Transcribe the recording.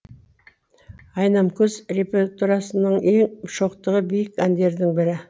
айнамкөз репертурасының ең шоқтығы биік әндердің бірі